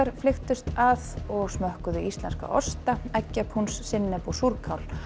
flykktust að og smökkuðu íslenska osta sinnep og súrkál